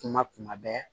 Kuma kuma bɛɛ